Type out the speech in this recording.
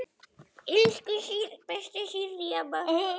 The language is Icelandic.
Elsku besta Sirrý amma.